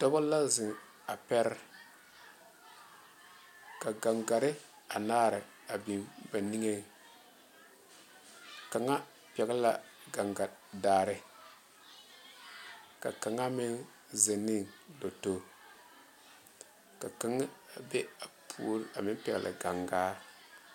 Dɔbo la zoro a pɛre ka gaŋgare anaare a big kaŋ e la kaŋa pɛle la gaŋgadaare ka kaŋa meŋ zeɛ ne toto ka kaŋa meŋ be a puoriŋ pɛle gaŋgaŋ.